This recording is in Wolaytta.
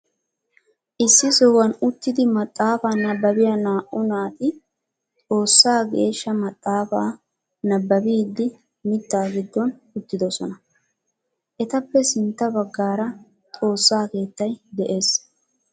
Issi sohuwan uttidi maxaafaa nabbabiya naa'u naati xoossaa geeshsha maxaafaa nababiidi mitaa giddonn uttidosona. etappe sintta bagaara xoossaa keettay des.